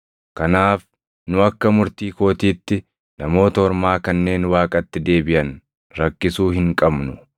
“Kanaaf nu akka murtii kootiitti Namoota Ormaa kanneen Waaqatti deebiʼan rakkisuu hin qabnu.